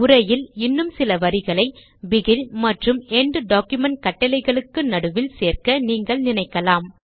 உரையில் இன்னும் சில வரிகளை பிகின் மற்றும் என்ட் டாக்குமென்ட் கட்டளைகளுக்கு நடுவில் சேர்க்க நீங்கள் நினைக்கலாம்